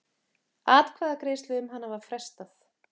Atkvæðagreiðslu um hana var frestað.